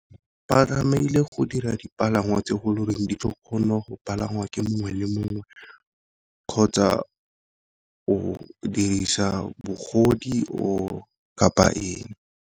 Ba tlamehile go dira dipalangwa tse go leng di ka kgona go palangwa ke mongwe le mongwe kgotsa o dirisa bogodi or kapa eng.